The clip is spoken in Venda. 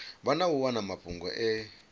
na u wana mafhungo e